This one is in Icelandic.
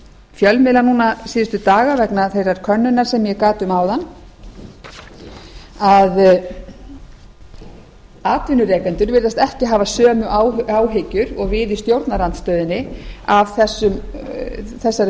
fjölmiðla núna síðustu daga vegna þeirrar könnunar sem ég gat um áðan að atvinnurekendur virðast ekki hafa sömu áhyggjur og við í stjórnarandstöðunni af þessari